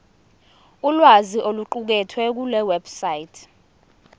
ulwazi oluqukethwe kulewebsite